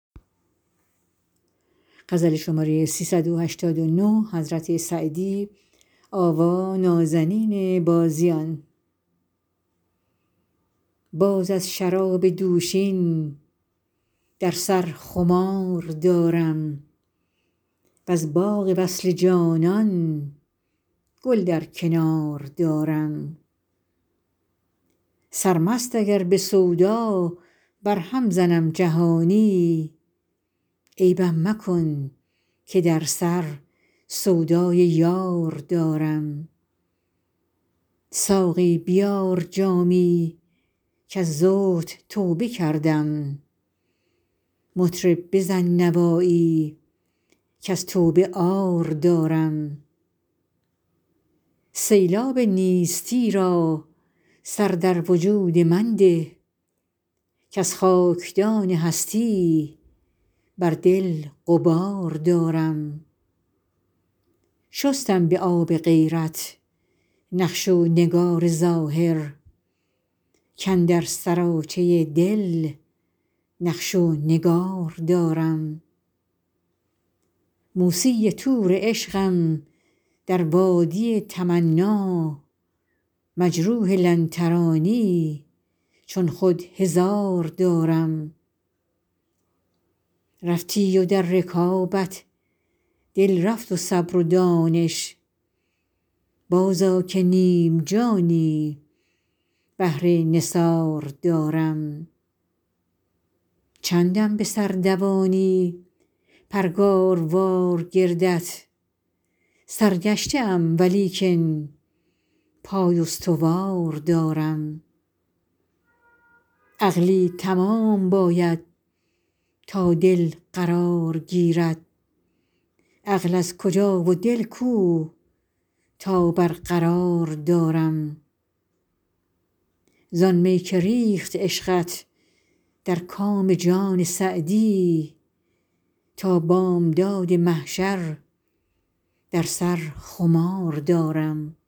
باز از شراب دوشین در سر خمار دارم وز باغ وصل جانان گل در کنار دارم سرمست اگر به سودا برهم زنم جهانی عیبم مکن که در سر سودای یار دارم ساقی بیار جامی کز زهد توبه کردم مطرب بزن نوایی کز توبه عار دارم سیلاب نیستی را سر در وجود من ده کز خاکدان هستی بر دل غبار دارم شستم به آب غیرت نقش و نگار ظاهر کاندر سراچه دل نقش و نگار دارم موسی طور عشقم در وادی تمنا مجروح لن ترانی چون خود هزار دارم رفتی و در رکابت دل رفت و صبر و دانش بازآ که نیم جانی بهر نثار دارم چندم به سر دوانی پرگاروار گردت سرگشته ام ولیکن پای استوار دارم عقلی تمام باید تا دل قرار گیرد عقل از کجا و دل کو تا برقرار دارم زآن می که ریخت عشقت در کام جان سعدی تا بامداد محشر در سر خمار دارم